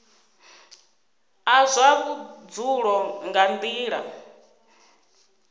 a zwa vhudzulo nga nila